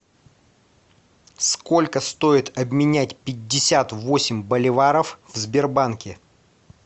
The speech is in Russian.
сколько стоит обменять пятьдесят восемь боливаров в сбербанке